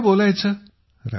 आता काय बोलायचे